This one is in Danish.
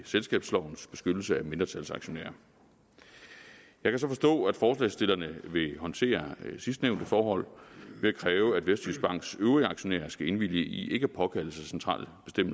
selskabslovens beskyttelse af mindretalsaktionærer jeg kan så forstå at forslagsstillerne vil håndtere sidstnævnte forhold ved at kræve at vestjyskbanks øvrige aktionærer skal indvilge i ikke at påkalde sig centrale